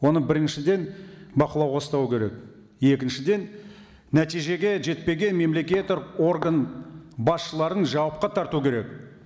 оны біріншіден бақылауға ұстау керек екіншіден нәтижеге жетпеген мемлекеттік орган басшыларын жауапқа тарту керек